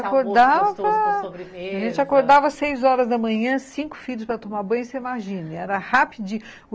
A gente acordava seis horas da manhã, cinco filhos para tomar banho, você imagina, era rapidinho.